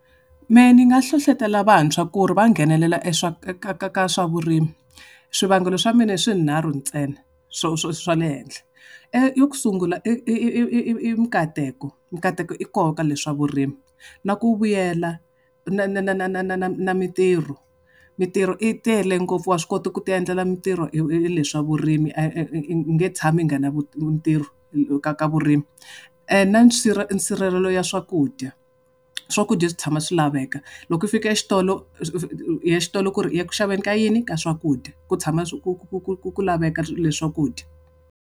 Mehe ni nga hlohletela vantshwa ku ri va nghenelela e ka ka ka ka swa vurimi. Swivangelo swa mina i swinharhu ntsena, swa le henhla. Yo sungula i minkateko. Ntateko i koho ka leswi swa vurimi. Na ku vuyela na na na na mintirho, mintirho yi tele ngopfu wa swi kota ku ti endlela mintirho hi hi le swa vurimi. u nge tshami u nga na ntirho ka ka vurimi. Na nsirhelelo ya swakudya. Swakudya swi tshama swi laveka. Loko u fika xitolo u ya xitolo ku ri u ya ku xaveni ka yini? Ka swakudya. Ku tshama ku ku ku ku ku laveka swakudya.